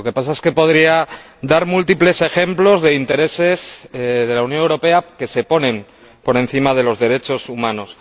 Lo que pasa es que podría dar múltiples ejemplos de intereses de la Unión Europea que se ponen por encima de los derechos humanos.